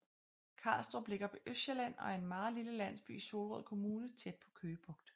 Karlstrup ligger på Østsjælland og er en meget lille landsby i Solrød Kommune tæt på Køge Bugt